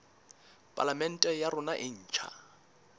palamente ya rona e ntjha